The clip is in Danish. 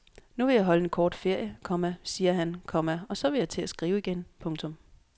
Nu vil jeg holde en kort ferie, komma siger han, komma og så vil jeg til at skrive igen. punktum